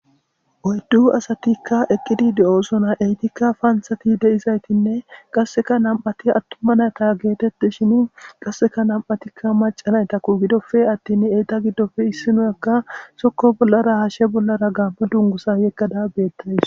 Oyddu asatikka eqqidi de7osona eytikka faansati de7izaytinne qasseka nam7ati attuma nayta geetetti shin qasseka nam7atikka macanaytakku gidofe attin eyta giddofe issinoyakka sokko bollara hashshe bollara gaammo dungusa yeggada beettays.